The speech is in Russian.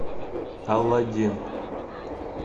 алладин